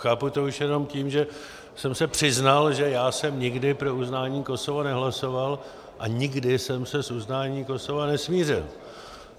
Chápu to už jenom tím, že jsem se přiznal, že já jsem nikdy pro uznání Kosova nehlasoval a nikdy jsem se s uznáním Kosova nesmířil.